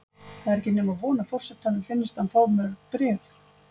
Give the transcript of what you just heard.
Það er ekki nema von að forsetanum finnist hann fá mörg bréf.